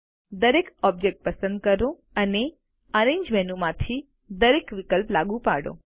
દરેક ઑબ્જેક્ટ પસંદ કરો અને એરેન્જ મેનુ માંથી દરેક વિકલ્પ લાગુ પાડો